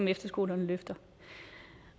efterskolerne løfter